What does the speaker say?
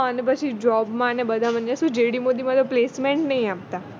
જે પછી job માં ને બધા નહિ આપતા